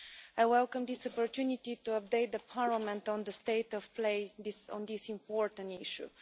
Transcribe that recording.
I welcome this opportunity to update Parliament on the state of play on this important issue.